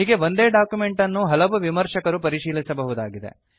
ಹೀಗೆ ಒಂದೇ ಡಾಕ್ಯುಮೆಂಟ್ ಅನ್ನು ಹಲವು ವಿಮರ್ಶಕರು ಪರಿಶೀಲಿಸಬಹುದಾಗಿದೆ